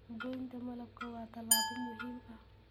Goynta malabka waa tallaabo muhiim ah.